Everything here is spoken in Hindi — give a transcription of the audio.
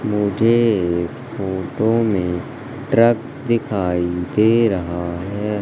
मुझे इस फोटो में ट्रक दिखाई दे रहा है।